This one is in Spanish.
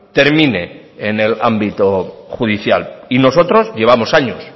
termine en el ámbito judicial y nosotros llevamos años